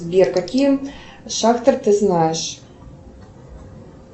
сбер какие шахтер ты знаешь